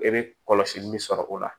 E be kɔlɔsili min sɔrɔ o la